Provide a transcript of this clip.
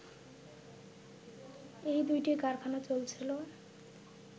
এই দুটি কারখানা চলছিল